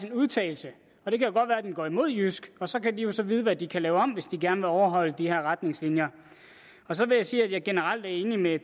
en udtalelse og det kan godt være den går imod jysk og så kan de jo så vide hvad de kan lave om hvis de gerne vil overholde de retningslinjer så vil jeg sige at jeg generelt er enig med